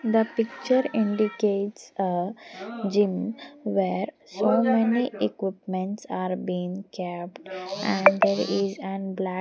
The picture indicates a gym where so many Equipment's are being kept and there is an black --